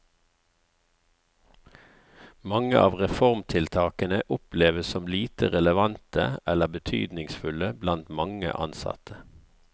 Mange av reformtiltaken oppleves som lite relevante eller betydningsfulle blant mange ansatte.